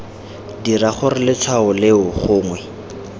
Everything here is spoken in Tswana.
dira gore letshwao leo gongwe